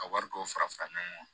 Ka wari dɔw fara fara fara ɲɔgɔn kan